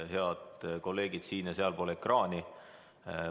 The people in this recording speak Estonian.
Head kolleegid siin- ja sealpool ekraani!